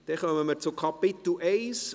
Dann kommen wir zum Kapitel I.